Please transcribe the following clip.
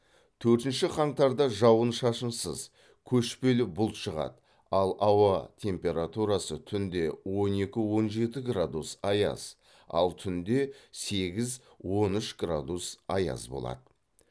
төртінші қаңтарда жауын шашынсыз көшпелі бұлт шығады ал ауа температурасы түнде екі он жеті градус аяз ал түнде сегіз он үш градус аяз болады